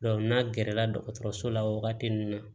n'a gɛrɛ la dɔgɔtɔrɔso la wagati min na